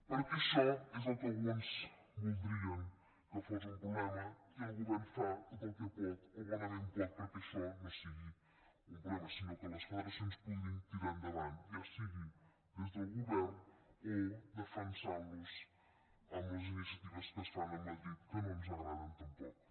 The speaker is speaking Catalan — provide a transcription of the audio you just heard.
perquè això és el que alguns voldrien que fos un pro·blema i el govern fa tot el que pot o bonament pot perquè això no sigui un problema sinó que les federa·cions puguin tirar endavant ja sigui des del govern o defensant·los amb les iniciatives que es fan a madrid que no ens agraden tampoc